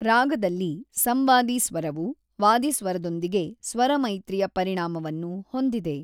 ರಾಗದಲ್ಲಿ ಸಂವಾದಿ ಸ್ವರವು ವಾದಿ ಸ್ವರದೊಂದಿಗೆ ಸ್ವರಮೈತ್ರಿಯ ಪರಿಣಾಮವನ್ನು ಹೊಂದಿದೆ.